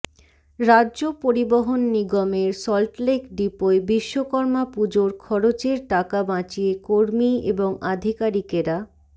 রাজ্য পরিবহণ নিগমের সল্টলেক ডিপোয় বিশ্বকর্মা পুজোর খরচের টাকা বাঁচিয়ে কর্মী এবং আধিকারিকেরা